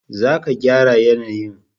za ka gyara yanayin